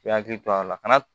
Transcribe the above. I hakili to a la kana